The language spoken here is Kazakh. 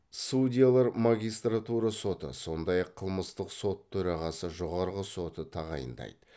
судьялар магистратура соты сондай ақ қылмыстық сот төрағасы жоғарғы сотының тағайындайды